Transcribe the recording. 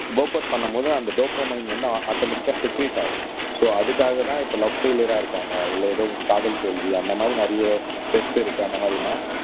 workouts பண்ணும் போது அந்த டோபோமைன் வந்து ஆட்டோமேட்டிக்கா செக்ரீட் ஆகும் சோ அதுக்காகதான் இப்ப லவ் பெயிலியர் இருக்காங்க இல்ல ஏதோ காதல் தோல்வி அந்த மாதிரி நிறைய இருக்கு அந்த மாதிரின்னா